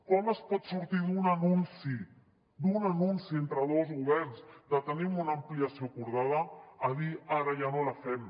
com es pot sortir d’un anunci entre dos governs de tenim una ampliació acordada a dir ara ja no la fem